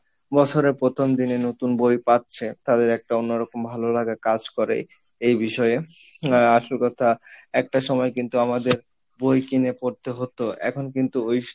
বছরের প্রথম দিনে নতুন বই পাচ্ছে তাদের একটা অন্য রকম ভালো লাগা কাজ করে এই বিষয়ে আহ আসল কথা একটা সময় কিন্তু আমাদের বই কিনে পড়তে হতো এখন কিন্তু ওই